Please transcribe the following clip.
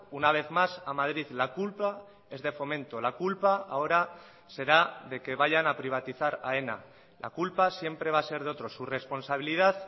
una vez más a madrid la culpa es de fomento la culpa ahora será de que vayan a privatizar aena la culpa siempre va a ser de otros su responsabilidad